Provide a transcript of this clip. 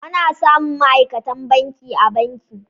Ana samun ma'aikatan banki a banki.